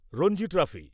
Ranji trophy